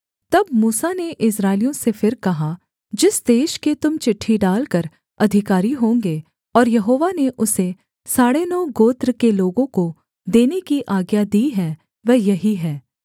तब मूसा ने इस्राएलियों से फिर कहा जिस देश के तुम चिट्ठी डालकर अधिकारी होंगे और यहोवा ने उसे साढ़े नौ गोत्र के लोगों को देने की आज्ञा दी है वह यही है